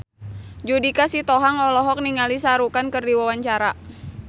Judika Sitohang olohok ningali Shah Rukh Khan keur diwawancara